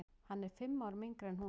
Hann er fimm árum yngri en hún.